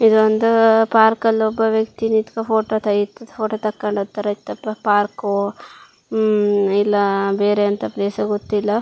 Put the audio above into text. ಇದೊಂದು ಪಾರ್ಕ್ ಅಲ್ಲಿ ಒಬ್ಬ ವ್ಯಕ್ತಿ ನಿಂತ್ಕೋ ಫೋಟೋ ತಗೆದಿದ್ ಫೋಟೋ ತಕೊಂಡಿತರ ಇತ್ತಪ್ಪ ಪಾರ್ಕು ಉಹ್ ಇಲ್ಲಾ ಬೇರೆ ಅಂತ ಪ್ಲೇಸ್ ಗೊತ್ತಿಲ್ಲಾ.